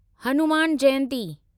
Hanuman Jayanti